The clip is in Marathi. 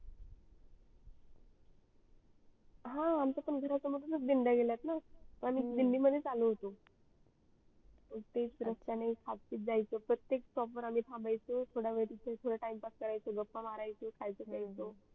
हा आमचा पण घरासमोरूनच डिंडया गेल्या आहेत ना आणि दिंडी मधेच आलो होतो हा तेच रस्त्यान खातपित जाच प्रतेक stop वर आम्ही थांबाच थोडा वेड इकडे time पास करायचो गप्पा मारत बसायच खायचो प्याचो